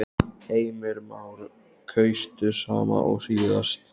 Heimir Már: Kaustu sama og síðast?